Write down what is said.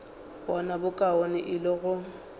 bona bokaone e le go